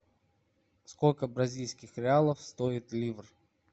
сколько бразильских реалов стоит ливр